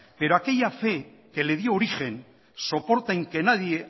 pero aquella fe que le dio origen soporta en que nadie